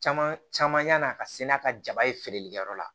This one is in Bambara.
Caman caman yan'a ka se n'a ka jaba ye feereli kɛyɔrɔ la